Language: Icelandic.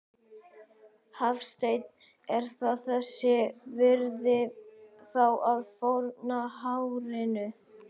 Hafsteinn: Er það þess virði þá að fórna hárinu?